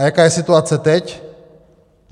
A jaká je situace teď?